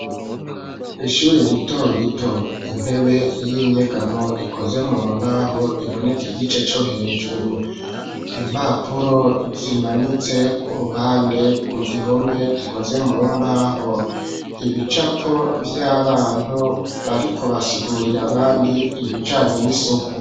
Ishure rito rito intebe y'inyegamo ikoze mu mbaho iboneka igice co hejuru, impapuro zimanitse ku ruhande ku gihome gikoze mu mbaho. Ibicapo vy'abantu bariko basigurira abandi ibijanye n'isuku.